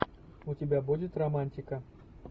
у тебя будет романтика